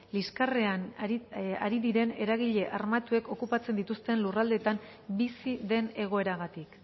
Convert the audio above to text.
liskarrean ari diren eragile armatuek okupatzen dituzten lurraldeetan bizi den egoeragatik